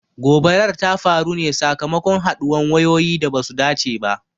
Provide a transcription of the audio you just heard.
Gobarar ta faru ne sakamakon haduwan wayoyi da basu dace ba.